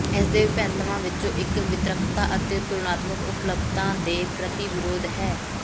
ਇਸਦੇ ਵਿਭਿੰਨਤਾਵਾਂ ਵਿੱਚੋਂ ਇੱਕ ਵਿਤਰਕਤਾ ਅਤੇ ਤੁਲਨਾਤਮਕ ਉਪਲੱਬਧਤਾ ਦੇ ਪ੍ਰਤੀ ਵਿਰੋਧ ਹੈ